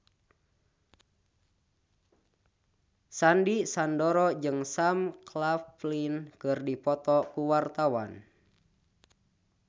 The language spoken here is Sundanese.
Sandy Sandoro jeung Sam Claflin keur dipoto ku wartawan